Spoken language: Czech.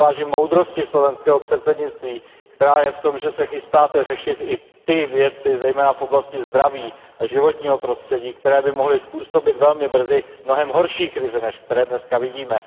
Já si vážím moudrosti slovenského předsednictví, která je v tom, že se chystáte řešit i ty věci, zejména v oblasti zdraví a životního prostředí, které by mohly způsobit velmi brzy mnohem horší krize, než které dneska vidíme.